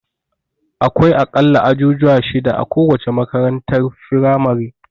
Akwai a ƙalla ajujuwa shida a kowace makarantar firamare.